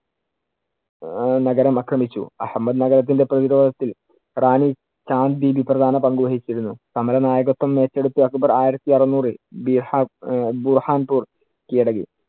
അഹ് നഗരം ആക്രമിച്ചു. അഹമ്മദ് നഗരത്തിന്‍റെ പ്രതിരോധത്തിൽ റാണി ജാൻ ബീവി പ്രധാന പങ്കു വഹിച്ചിരുന്നു. സമര നായകത്വം ഏറ്റെടുത്ത് അക്ബർ ആയിരത്തി അറുന്നൂറിൽ ബീഹാ~ ബുഹാൻ പൂർ കിഴടക്കി.